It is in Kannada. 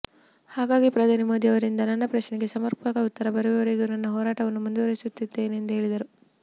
ಹಾಗಾಗಿ ಪ್ರಧಾನಿ ಮೋದಿಯವರಿಂದ ನನ್ನ ಪ್ರಶ್ನೆಗೆ ಸಮರ್ಪಕ ಉತ್ತರ ಬರುವವರೆಗೂ ನನ್ನ ಹೋರಾಟವನ್ನು ಮುಂದುವರೆಸುತ್ತೇನೆಂದು ಹೇಳಿದರು